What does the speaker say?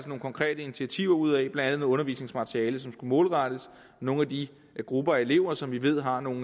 nogle konkrete initiativer ud af blandt undervisningsmateriale som skulle målrettes nogle af de grupper af elever som vi ved har nogle